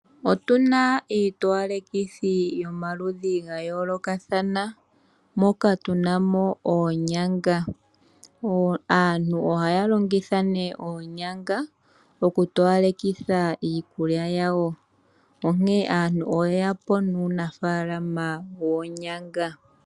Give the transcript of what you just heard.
Otuna iitowalekithi yomaludhi gayoolokathana moka tunamo oonyanga, aantu ohaya longitha nee oonyanga okutowalekitha iikulya yawo, onkee aantu oyeya po nuunafaalama woonyanga.